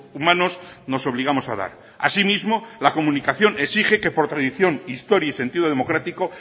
humanos nos obligamos a dar asimismo la comunicación exige que por tradición historia y sentido democrático